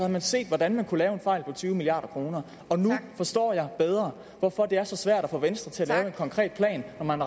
man set hvordan man kunne lave en fejl på tyve milliard kroner nu forstår jeg bedre hvorfor det er så svært tak at få venstre til at lave en konkret plan når man